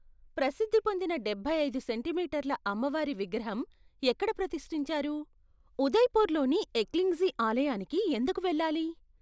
ప్రసిద్ధి పొందిన డెభై ఐదు సెంటీ మీటర్ల అమ్మవారి విగ్రహం ఎక్కడ ప్రతిష్టించారు ఉదయ్‌పూర్లోని ఎక్లింగ్జీ ఆలయానికి ఎందుకు వెళ్ళాలి?